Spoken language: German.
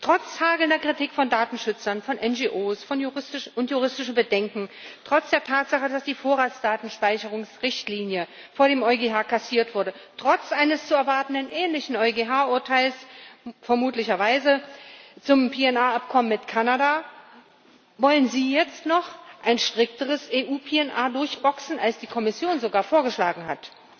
Trotz hagelnder Kritik von Datenschützern, von NGOs und juristischer Bedenken, trotz der Tatsache, dass die Vorratsdatenspeicherungsrichtlinie vor dem EuGH kassiert wurde, trotz eines zu erwartenden ähnlichen EuGH Urteils vermutlich zum PNR Abkommen mit Kanada wollen sie jetzt noch ein strikteres EU PNR durchboxen, als die Kommission sogar vorgeschlagen hat.